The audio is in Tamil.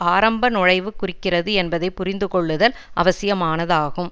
ஆரம்ப நுழைவைக் குறிக்கிறது என்பதை புரிந்து கொள்ளுதல் அவசியமானதாகும்